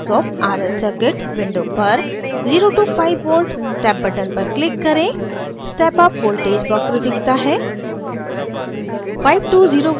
transient response of rl circuit window पर 0 to 5v step button पर click करें